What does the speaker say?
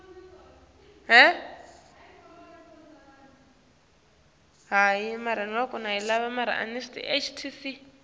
msolwa